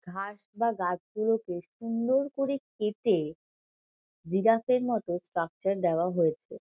ঘাস বা গাছগুলো বেশ সুন্দর করে কেটে জিরাফের মতো স্ট্রাকচার দেওয়া হয়েছে।